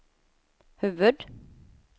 huvud-